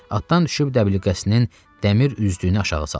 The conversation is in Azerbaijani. Atdan düşüb dəbilqəsinin dəmir üzdüyünü aşağı saldı.